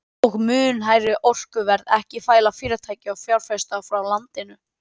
Og mun hærra orkuverð ekki fæla fyrirtæki og fjárfesta frá landinu?